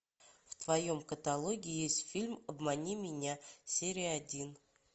в твоем каталоге есть фильм обмани меня серия один